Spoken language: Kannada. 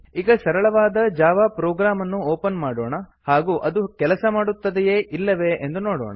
ಈಗ ಸರಳವಾದ ಜಾವಾ ಪ್ರೋಗ್ರಾಮ್ ಅನ್ನು ಒಪನ್ ಮಾಡೋಣ ಹಾಗೂ ಅದು ಕೆಲಸ ಮಾಡುತ್ತದೆಯೇ ಎಂದು ನೋಡೋಣ